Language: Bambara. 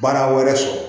Baara wɛrɛ sɔrɔ